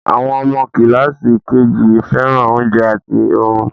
Àwọn ọmọ kíláàsì KG fẹ́ràn oúnjẹ àti orun